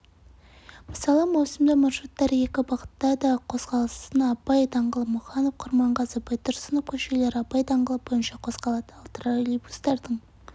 мысалы маусымда маршруттары екі бағытта да қозғалысынабай даңғылы мұқанов-құрманғазы-байтұрсынов көшелері абай даңғылы бойынша қозғалады ал тролейбустардың